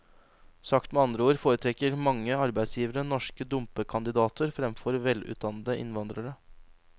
Sagt med andre ord foretrekker mange arbeidsgivere norske dumpekandidater fremfor velutdannede innvandrere.